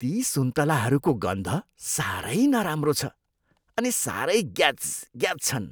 ती सुन्तलाहरूको गन्ध साह्रै नराम्रो छ अनि साह्रै ग्याजग्याज छन्।